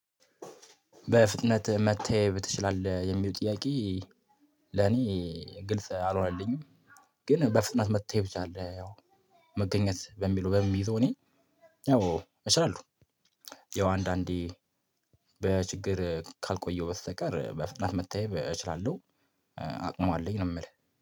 በፍጥነት መተየብ ትችላለህ? ለሚለው ጥያቄ ለኔ ግልጽ አልሆነልኝም፤ ግን በፍጥነት መታየብ ትችላለህ፤ ያው፣ መገኘት በሚለው የምይዘው እኔ፤ ያው እችላለሁ፤ ያው አንዳንዴ በችግር ካልቆየሁ በስተቀር፤ በፍጥነት መታየት እችላለሁ፤ አቅም አለኝ ነው የምልህ፤